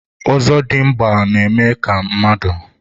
ozodimgba na-eme ka mmadụ